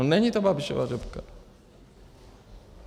No není to Babišova řepka.